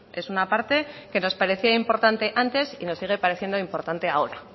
es una parte que nos parecía importante antes y nos sigue pareciendo importante ahora